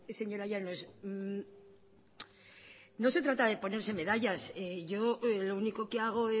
señora llanos no se trata de ponerse medallas yo lo único que hago